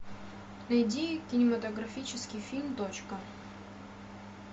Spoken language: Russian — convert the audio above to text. найди кинематографический фильм точка